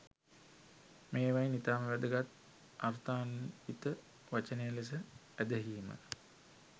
මේවායින් ඉතාම වැදගත්, අර්ථාන්විත වචනය ලෙස ඇදහීම